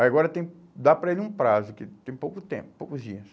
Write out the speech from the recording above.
Aí agora tem, dá para ele um prazo, que tem pouco tempo, poucos dias.